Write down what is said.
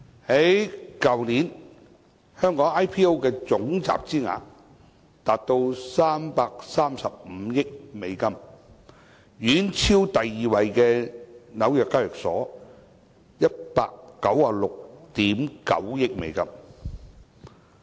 去年，香港 IPO 的總集資額達到335億美元，遠超第二位紐約交易所的196億 9,000 萬美元。